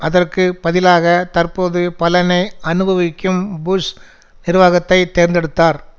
அதற்கு பதிலாக தற்போது பலனை அனுபவிக்கும் புஷ் நிர்வாகத்தை தேர்ந்தெடுத்தார்